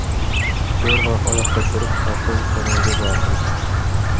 Zo‘rg‘a oyoqqa turib, avtobus tomonga bordim.